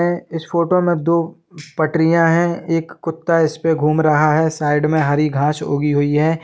में इस फोटो में दो पटरियाँ हैं एक कुत्ता इसपे घूम रहा है साइड में हरी घास उगी हुई है।